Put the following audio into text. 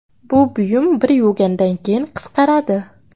Bu buyum bir yuvgandan keyin qisqaradi.